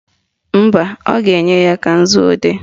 Mba, ọ ga-enye ka nzuodee